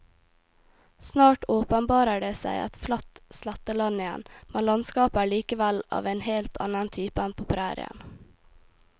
Snart åpenbarer det seg et flatt sletteland igjen, men landskapet er likevel av en helt annen type enn på prærien.